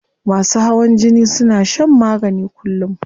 Masu hawan jini suna shan magani kullum